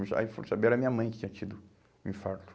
Aí foram saber era minha mãe que tinha tido o infarto.